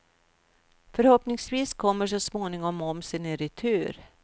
Förhoppningsvis kommer så småningom momsen i retur.